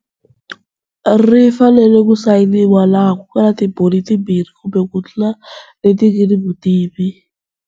Ri fanele ku sayiniwa laha ku nga ni timbhoni timbirhi kumbe ku tlula leti nga ni vutivi.